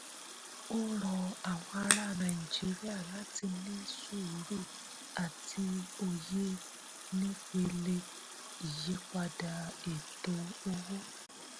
ó rọ àwọn ará nàìjíríà láti ní sùúrù àti òye nípele ìyípadà ètò owó.